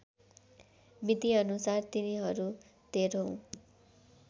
मितिअनुसार तिनीहरू तेह्रौँ